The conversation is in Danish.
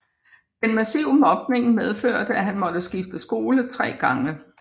Den massive mobning medførte at han måtte skifte skole 3 gange